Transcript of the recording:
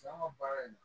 an ka baara in na